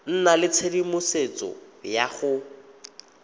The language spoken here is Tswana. nna le tshedimosetso ya go